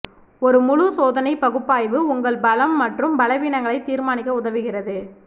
ஒரு முழு சோதனை பகுப்பாய்வு உங்கள் பலம் மற்றும் பலவீனங்களை தீர்மானிக்க உதவுகிறது